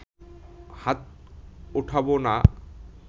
হাত ওঠাবো না